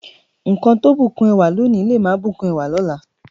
Nkan tó bùkún ẹwà lónìí, le máa bùkún ẹwà lọ́la.